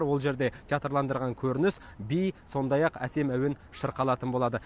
ол жерде театрландырған көрініс би сондай ақ әсем әуен шырқалатын болады